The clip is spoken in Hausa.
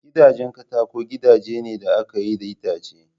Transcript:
Gidajen katako gidaje ne da aka yi da itace